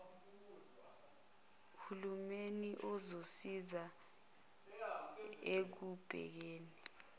hulumeni uzosiza ekubekeni